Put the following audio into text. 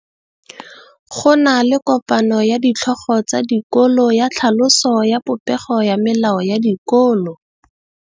Go na le kopanô ya ditlhogo tsa dikolo ya tlhaloso ya popêgô ya melao ya dikolo.